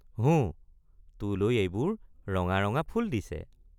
হোঁ তোলৈ এইবোৰ ৰঙা ৰঙা ফুল দিছে।